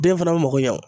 Den fana mako ɲa o